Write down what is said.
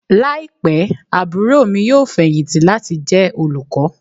Laipẹ aburo mi yoo fẹhinti lati jẹ olukọ.